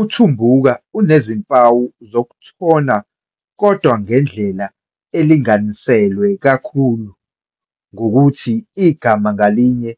UTumbuka unezimpawu zokuthona kodwa ngendlela elinganiselwe kakhulu, ngokuthi igama ngalinye,